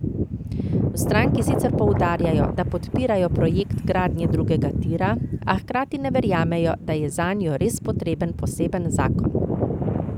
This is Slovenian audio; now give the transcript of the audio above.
V stranki sicer poudarjajo, da podpirajo projekt gradnje drugega tira, a hkrati ne verjamejo, da je zanjo res potreben poseben zakon.